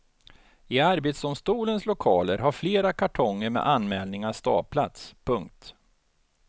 I arbetsdomstolens lokaler har flera kartonger med anmälningar staplats. punkt